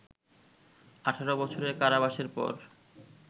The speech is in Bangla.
১৮ বছরের কারাবাসের পর